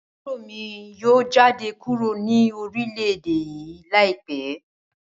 Aburo mi yoo jade kuro ni orilẹ-ede yii laipẹ